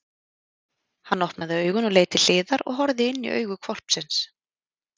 Hann opnaði augun og leit til hliðar og horfði inní augu hvolpsins!